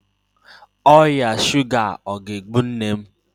Ọrịa shuga ọ ga-egbu nne m?